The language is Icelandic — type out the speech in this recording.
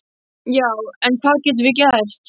Já, en hvað getum við gert?